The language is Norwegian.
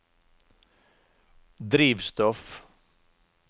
drivstoff